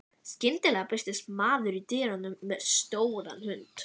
Skyndilega birtist maður í dyrunum með stóran hund.